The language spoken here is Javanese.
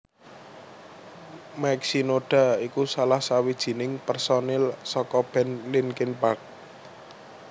Mike Shinoda iku salah sawijining pérsonil saka band Linkin Park